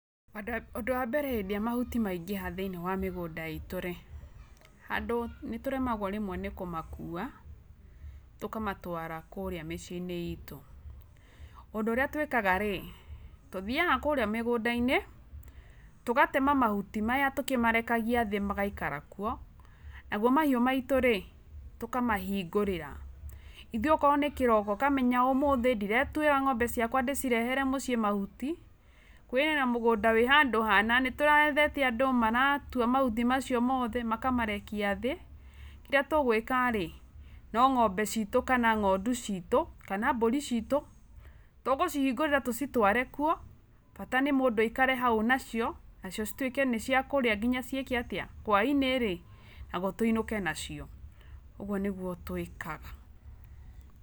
Ũndũ wa mbere hĩndĩ ĩrĩa mahuti maingĩha thĩiniĩ wa mĩgũnda itũ-rĩ, handũ, nĩtũremagwo rĩmwe nĩ kũmakua tũkamatwara kũurĩa mĩciĩ-inĩ itũ. Ũndũ ũrĩa twĩkaga-rĩ, tũthiaga kũurĩa mĩgũnda-inĩ, tũgatema mahuti maya tũkĩmarekagia thĩ magaikara kuo, nagwo mahiũ maitũ-rĩ, tũkamahingũrĩra. Ĩthuĩ okorwo nĩ kĩroko ũkamenya ũmũthĩ ndiretuĩra ng'ombe ciakwa ndĩcirehere mũciĩ mahuti, kwĩna mũgũnda wĩ handũ hana nĩtũrethete andũ maratua mahuti macio mothe makamarekia thĩ, kĩrĩa tũgũĩka-rĩ, no ng'ombe ciitũ kana ng'ondu ciitũ kana mbũri ciitũ tũgũcihingũrĩra tũcitware kuo, bata nĩ mũndũ aikare hau nacio, nacio cituĩke nĩciakũria nginya ciĩke atĩa, hwainĩ-rĩ, nagwo tũinũke nacio. Ũgwo nĩguo twĩkaga.